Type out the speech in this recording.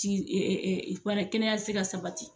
kɛnɛya tɛ se ka sabati.